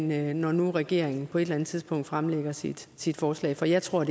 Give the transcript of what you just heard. når nu regeringen på et eller andet tidspunkt fremsætter sit sit forslag for jeg tror